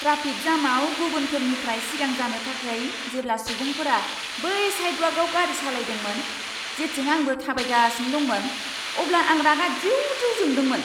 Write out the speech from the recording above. Traffic जामाव गुबुनफोरनिफ्राय सिगां जानो थाखाय जेब्ला सुबुंफोरा बै साइदवाकआव गारि सालायदोंमोन, जेथिं आंबो थाबायगासिनो दंमोन, अब्ला आं रागा दिउ दिउ जादोंमोन।